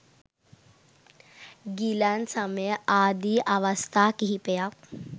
ගිලන් සමය ආදි අවස්ථා කිහිපයක්